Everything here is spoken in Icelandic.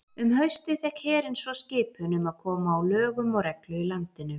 Um haustið fékk herinn svo skipun um að koma á lögum og reglu í landinu.